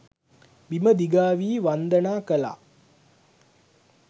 බිම දිගා වී වන්දනා කළා